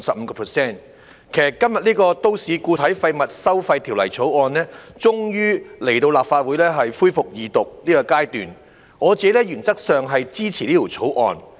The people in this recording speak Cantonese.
今天，有關《2018年廢物處置條例草案》終於來到立法會恢復二讀辯論的階段，原則上我是支持《條例草案》的。